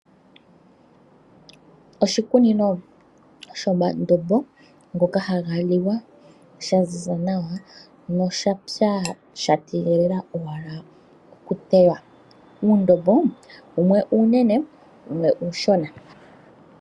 Oshikunino shomandombo ngoka haga liwa sha ziza nawa, noshapya sha tegelela owala okutewa. Uundombo wumwe uunene, wumwe uushona.